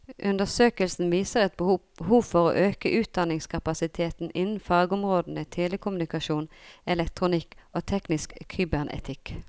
Undersøkelsen viser et behov for å øke utdanningskapasiteten innen fagområdene telekommunikasjon, elektronikk og teknisk kybernetikk.